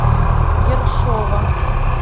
ершова